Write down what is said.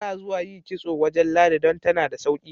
Ana zuwa yi kitso wajen Ladi don tana da sauki.